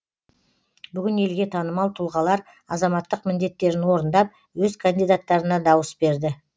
бүгін елге танымал тұлғалар азаматтық міндеттерін орындап өз кандидаттарына дауыс берді